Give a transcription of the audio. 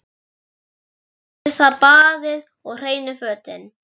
Fyrst er það baðið og hreinu fötin.